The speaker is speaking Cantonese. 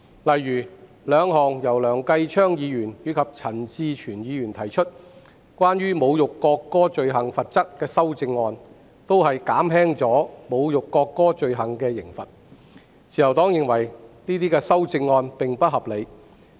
例如，兩項由梁繼昌議員和陳志全議員提出，關於侮辱國歌罪行罰則的修正案均旨在減輕侮辱國歌罪行的刑罰，自由黨認為這些修正案並不合理。